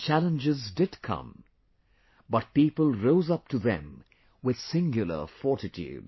Challenges did come; but people rose up to them with singular fortitude